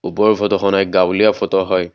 ওপৰৰ ফটোখন এক গাঁৱলীয়া ফটো হয়।